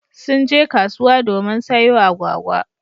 Sun je kasuwa domin sayo agwagwa.